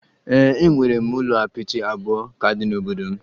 Ee, e nwere ụlọ apịtị abụọ ka dị n'obodo m